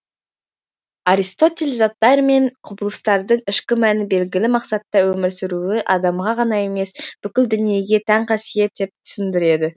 аристотель заттар мен құбылыстардың ішкі мәні белгілі мақсатта өмір сүруі адамға ғана емес бүкіл дүниеге тән қасиет деп түсіндіреді